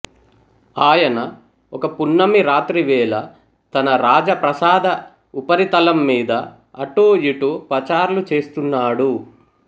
ఆయన ఒక పున్నమి రాత్రివేళ తన రాజప్రాసాద ఉపరితలం మీద అటూ ఇటూ పచార్లు చేస్తున్నాడు